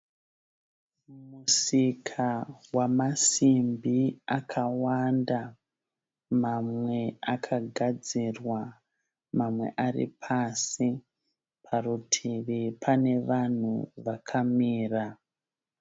Musika wamasimbi akawanda. Mamwe akagadzirwa, mamwe ari pasi. Parutivi pane vanhu vakamira.